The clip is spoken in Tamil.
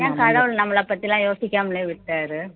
ஏன் கடவுள் நம்மளை பத்தி எல்லாம் யோசிக்காமலே விட்டாரு